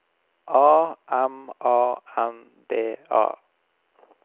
A M A N D A